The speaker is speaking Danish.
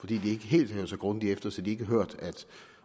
de ikke helt hørte så grundigt efter så de ikke har hørt at